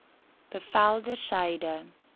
bevel ter syde